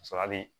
Ka sɔrɔ a bɛ